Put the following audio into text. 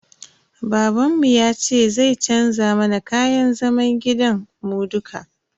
Babanmu yace zai canza mana kayan zaman gidan mu dukka.